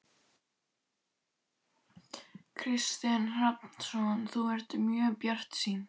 Kristinn Hrafnsson: Þú ert ekki mjög bjartsýn?